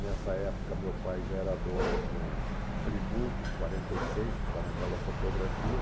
Nessa época, meu pai já era dono de um Primu quarenta e seis, que está naquela fotografia.